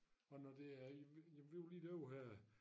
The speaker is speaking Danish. Og når det er jamen vi var lige derovre her